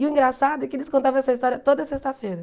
E o engraçado é que eles contavam essa história toda sexta-feira.